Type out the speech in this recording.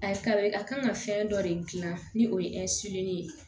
A ye ka kan ka fɛn dɔ de gilan ni o ye ye